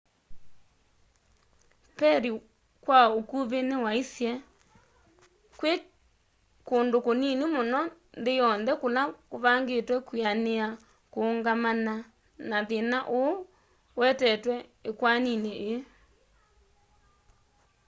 perry kwa ukuvi niwaisye kwi kundu kunini muno nthi yonthe kula kuvangitwe kwianiia kuungamana na thina uu uetetwe ikwanini ii